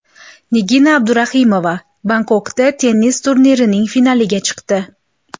Nigina Abduraimova Bangkokdagi tennis turnirining finaliga chiqdi.